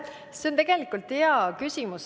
See on tegelikult hea küsimus.